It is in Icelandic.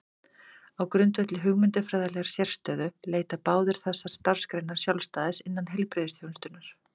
Á grundvelli hugmyndafræðilegrar sérstöðu leita báðar þessar starfsgreinar sjálfstæðis innan heilbrigðisþjónustunnar.